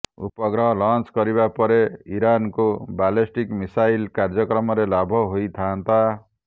ଉପଗ୍ରହ ଲଞ୍ଚ କରିବା ପରେ ଇରାନକୁ ବାଲେଷ୍ଟିକ୍ ମିଶାଇଲ କାର୍ଯ୍ୟକ୍ରମରେ ଲାଭ ହୋଇଥାଆନ୍ତା